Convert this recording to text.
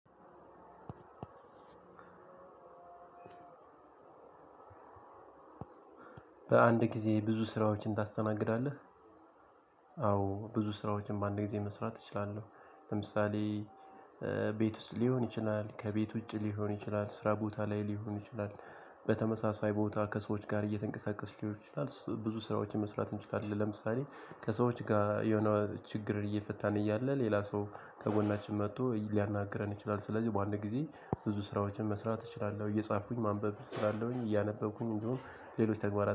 በአንድ ጊዜ ብዙ ስራዎችን ታስተናግዳለህ? አዎ ብዙ ስራዎችን በአንድ ጊዜ መስራት እችላለሁ ለምሳሌ ቤት ውስጥ ሊሆን ይችላል ከቤት ውጭ ሊሆን ይችላል ስራ ቦታ ላይ ሊሆን ይችላል። በተመሳሳይ ቦታ ከሰዎች ጋር እየተንቀሳቀስን ሊሆን ይችላል ብዙ ስራዎችን መስራት እንችላለን። ለምሳሌ ከሰዎች ጋር የሆነ ችግር እየፈታን እያለ ሌላ ሰው ከጎናችን መጥቶ ሊያናግረን ይችላል። ስለዚህ በአንድ ጊዜ ብዙ ስራዎችን መስራት እችላለሁ እየጻፍኩኝ ማንበብ እችላለሁኝ እያነበብኩኝ እንዲሁም ሌሎች ተግባራት